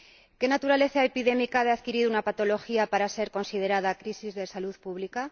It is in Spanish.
¿Qué naturaleza epidémica ha de adquirir una patología para ser considerada crisis de salud pública?